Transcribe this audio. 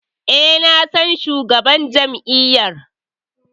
E, na san shugaban jam'iyyar.